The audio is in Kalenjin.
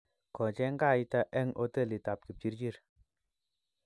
kocheny kaita eng' hotelitab kipchirchir